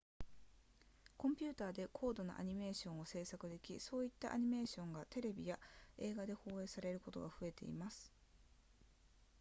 コンピューターで高度なアニメーションを制作できそういったアニメーションがテレビや映画で放映されることが増えています